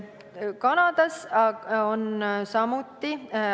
Kanadas on samamoodi.